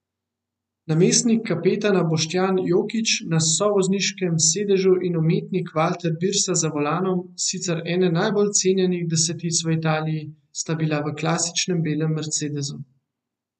Namestnik kapetana Boštjan Jokić na sovozniškem sedežu in umetnik Valter Birsa za volanom, sicer ena najbolj cenjenih desetic v Italiji, sta bila v klasičnem belem mercedesu.